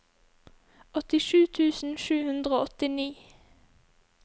åttisju tusen sju hundre og åttini